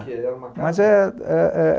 Mas é, é...